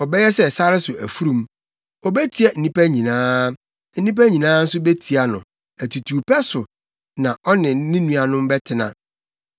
Ɔbɛyɛ sɛ sare so afurum. Obetia nnipa nyinaa, na nnipa nyinaa nso betia no; atutuwpɛ so na ɔne ne nuanom bɛtena.”